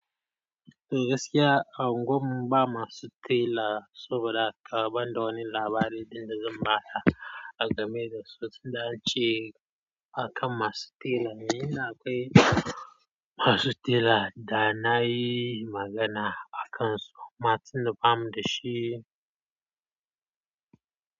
E gaskiya a unguwan mu ba masu tela saboda haka ban da wani labari ɗin da zan baka a game da su. Sun dace akan masu tela. Ni ina kai masu tela da na yi magana a kansu. Ma tunda ba mu da shi.